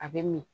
A bɛ min